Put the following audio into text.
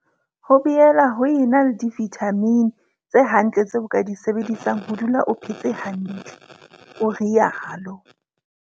Ho boela ho ena le divithamini tse hantle tseo o ka di sebedisang ho dula o phetse hantle, o rialo.